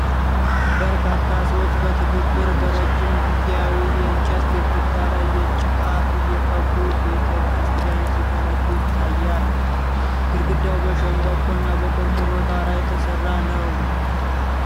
በርካታ ሰዎች በትብብር በረጅም ጊዜያዊ የእንጨት ግድግዳ ላይ ጭቃ እየቀቡ ቤተ ክርስቲያን ሲገነቡ ይታያል። ግድግዳው በሸምበቆና በቆርቆሮ ጣራ የተሰራ ነው።